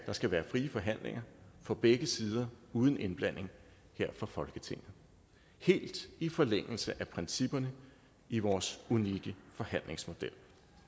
der skal være frie forhandlinger på begge sider uden indblanding her fra folketinget helt i forlængelse af principperne i vores unikke forhandlingsmodel